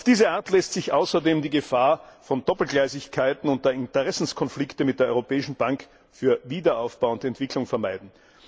Auf diese Art lässt sich außerdem die Gefahr von Doppelgleisigkeiten und Interessenskonflikten mit der Europäischen Bank für Wiederaufbau und Entwicklung vermeiden.